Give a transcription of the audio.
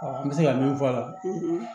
an bɛ se ka min fɔ a la